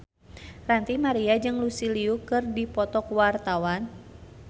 Ranty Maria jeung Lucy Liu keur dipoto ku wartawan